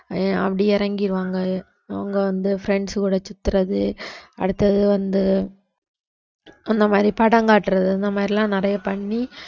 அஹ் அப்படி இறங்கிருவாங்க அவங்க வந்து friends கூட சுத்துறது அடுத்தது வந்து அந்த மாதிரி படம் காட்டுறது இந்த மாதிரி எல்லாம் நிறைய பண்ணி